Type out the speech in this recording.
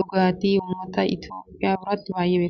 Dhugaatii ummata itiyoophiyaa biratti baayyee beekamaadha.